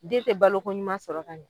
Den te baloko ɲuman sɔrɔ ka ɲɛ